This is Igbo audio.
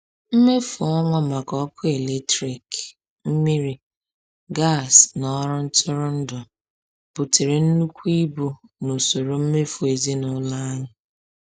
Mmefu ọnwa maka ọkụ eletrik, mmiri, gas na ọrụ ntụrụndụ butere nnukwu ibu n’usoro mmefu ezinụlọ anyị.